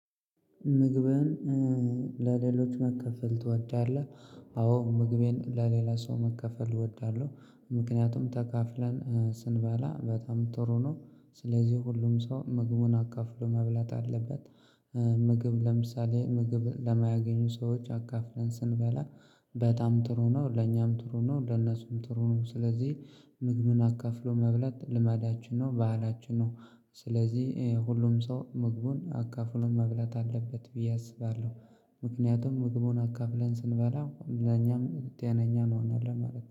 ምግብህን ለሌሎች ማካፈል ትወዳለህ? አዎ ምግቤን ለሌላ ሰው ማካፈል እወዳለሁ ምክንያቱም ተካፍለን ስንበላ በጣም ጥሩ ነው ስለዚህ ሁሉም ሰው ምግቡን አካፍሎ መብላት አለበት። ምግብ ለምሳሌ ምግብ ለማያገኙ ሰዎች አካፍለን ስንበላ። በጣም ጥሩ ነው ለኛም ጥሩ ነው ለነሱም ጥሩ ነው። ስለዚህ ምግብን አካፍሎ መብለት ልማዳችን ነው ባህላችን ነው። ስለዚህ ሁሉም ሰው ምግቡን አካፍሎ መብለት አለበት ብዬ አስባለሁ። ምክንያቱም ምግቡን አካፍለን ስንበላ ለኛም ጤነኛ እንሆናለን ማለት ነው